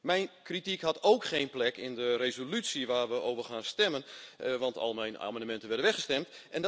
Mijn kritiek had ook geen plek in de resolutie waarover we gaan stemmen, want al mijn amendementen werden weggestemd.